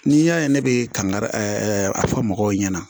N'i y'a ye ne bɛ kangari a fɔ mɔgɔw ɲɛna